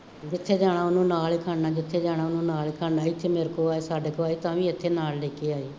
ਜਿੱਥੇ ਜਾਣਾ ਉਹਨੂੰ ਨਾਲ ਹੀ ਖੜਨਾ, ਜਿੱਥੇ ਜਾਣਾ ਉਹਨੂੰ ਨਾਲ ਹੀ ਖੜਨਾ, ਇੱਥੇ ਮੇਰੇ ਕੋਲ ਆਏ, ਸਾਡੇ ਕੋਲ ਆਏ ਤਾਂ ਵੀ ਇੱਥੇ ਨਾਲ ਲੈ ਕੇ ਆਏ,